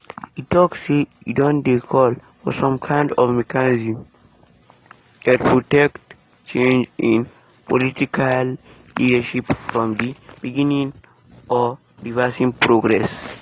e tok say e don dey call for some kind of mechanism dat protect change in political leadership from di beginning or reversing progress.